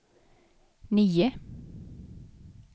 nio